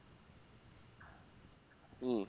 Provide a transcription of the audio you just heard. হম